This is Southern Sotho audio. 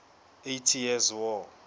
eighty years war